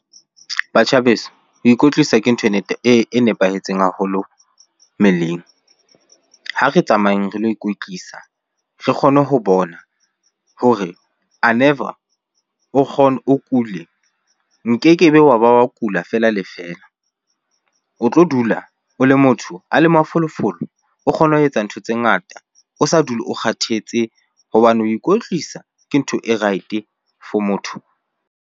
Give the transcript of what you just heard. Batjha beso ho ikwetlisa ke ntho e nepahetseng haholo mmeleng. Ha re tsamayeng re lo ikwetlisa, re kgone ho bona hore a never o o kule. Nkeke be wa ba wa kula fela le fela. O tlo dula o le motho a le mafolofolo, o kgone ho etsa ntho tse ngata, o sa dule o kgathetse hobane ho ikwetlisa ke ntho e right-e for motho.